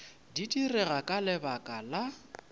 di direga ka lebaka la